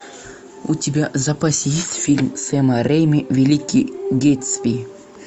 у тебя в запасе есть фильм сэма рейнби великий гэтсби